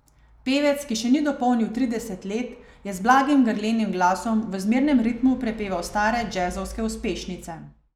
Pevec, ki še ni dopolnil trideset let, je z blagim grlenim glasom v zmernem ritmu prepeval stare džezovske uspešnice.